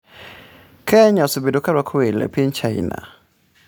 Kenya osebedo ka rwako welo mowuok e piny China.